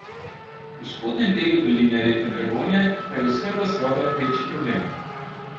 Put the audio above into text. V spodnjem delu doline reke Dragonje pa je oskrba z vodo večji problem.